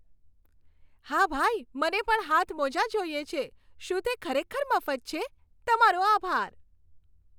હા ભાઈ, મને પણ હાથમોજાં જોઈએ છે. શું તે ખરેખર મફત છે? તમારો આભાર!